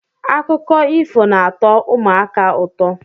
Akụkọ ifo na-atọ ụmụaka ụtọ.